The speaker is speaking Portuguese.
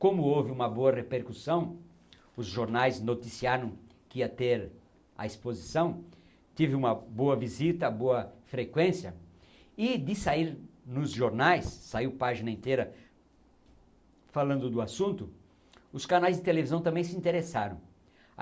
Como houve uma boa repercussão, os jornais noticiaram que ia ter a exposição, tive uma boa visita, boa frequência, e de sair nos jornais, saiu página inteira falando do assunto, os canais de televisão também se interessaram.